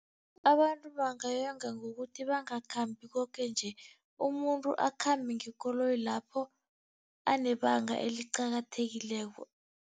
Abantu bangayonga ngokuthi bangakhambi koke nje, umuntu akhambe ngekoloyi lapho anebanga eliqakathekileko.